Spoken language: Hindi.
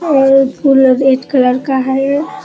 और फूल रेड कलर का हई।